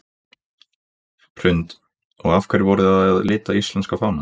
Hrund: Og af hverju voruð þið að lita íslenska fánann?